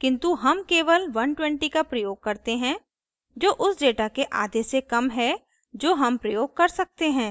किन्तु हम केवल 120 का प्रयोग करते हैं जो उस data के आधे से कम है जो हम प्रयोग कर सकते हैं